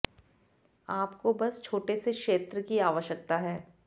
आपको बस छोटे से क्षेत्र की आवश्यकता है